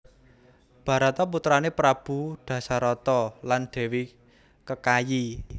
Barata putrané Prabu Dasarata lan Dèwi Kekayi